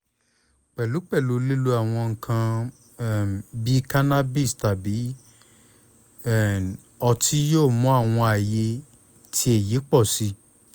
pẹlupẹlu lilo awọn nkan um bii cannabis tabi um ọti yoo mu awọn aye ti eyi pọ si